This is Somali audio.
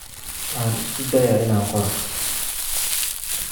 Waxaan isku dayaa inaan qoro